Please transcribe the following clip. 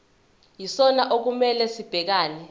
yisona okumele sibhekane